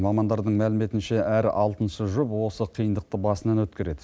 мамандардың мәліметінше әр алтыншы жұп осы қиындықты басынан өткереді